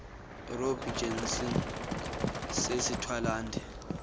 robbie jansen sisthwalandwe